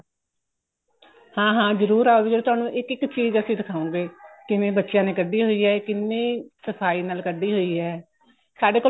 ਹਾਂ ਹਾਂ ਜਰੂਰ ਆਓ ਜੀ ਤੁਹਾਨੂੰ ਇੱਕ ਇੱਕ ਚੀਜ਼ ਅਸੀਂ ਦਿਖਾਉਗੇ ਕਿਵੇਂ ਬੱਚਿਆਂ ਨੇ ਕੱਢੀ ਹੋਈ ਏ ਕਿੰਨੀ ਸਫਾਈ ਨਾਲ ਕੱਢੀ ਹੋਈ ਹੈ ਸਾਡੇ ਕੋਲ